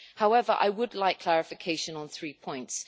However, I would like clarification on three points.